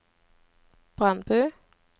Brandbu